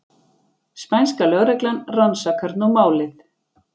Spænska lögreglan rannsakar nú málið